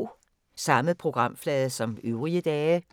Samme programflade som øvrige dage